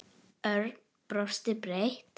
Örn brosti breitt.